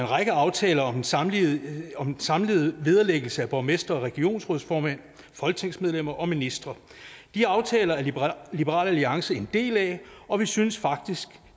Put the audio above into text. række aftaler om den samlede samlede vederlæggelse af borgmestre og regionsrådsformænd folketingsmedlemmer og ministre de aftaler er liberal alliance en del af og vi synes faktisk